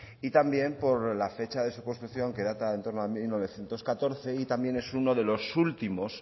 y también por la fecha de su construcción que data en torno a mil novecientos catorce y también es uno últimos